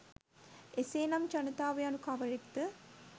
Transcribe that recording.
එසේනම් ජනතාව යනු කවරෙක්ද